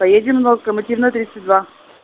поедем на локомотивную тридцать два